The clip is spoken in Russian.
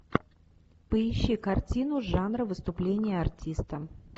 поищи картину жанра выступление артиста